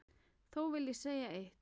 Þó vil ég segja eitt.